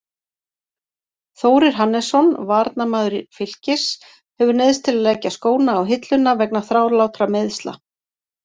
Þórir Hannesson, varnarmaður Fylkis, hefur neyðst til að leggja skóna á hilluna vegna þrálátra meiðsla.